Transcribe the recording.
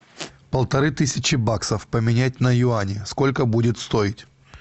полторы тысячи баксов поменять на юани сколько будет стоить